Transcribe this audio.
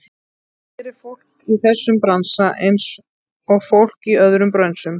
Það gerir fólk í þessum bransa, einsog fólk í öðrum brönsum.